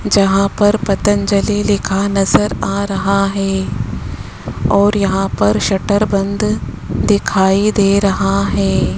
जहां पर पतंजलि लिखा नजर आ रहा है और यहां पर शटर बंद दिखाई दे रहा है।